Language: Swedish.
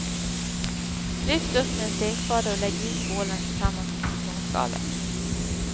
Lyft upp med en stekspade och lägg i skålen tillsammans med citronskalet.